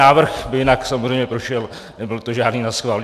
Návrh by jinak samozřejmě prošel, nebyl to žádný naschvál.